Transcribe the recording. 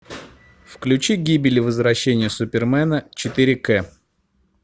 включи гибель и возвращение супермена четыре к